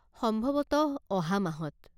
সম্ভৱতঃ অহা মাহত।